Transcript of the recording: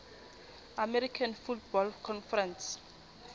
american football conference